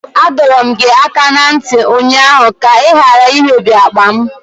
Adọọrọ m gị aka na ntị ụnyaahụ ka ị ghara imebi akpa m!